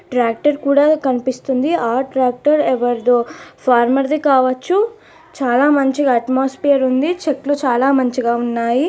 Tractor కూడా కనిపిస్తుంది ఆ ట్రాక్టర్ ఎవరిదో ఫార్మర్ ది కావచ్చు. చాలా మంచి అట్మోస్ఫియర్ ఉంది చెట్లు చాలా మంచిగా ఉన్నాయి.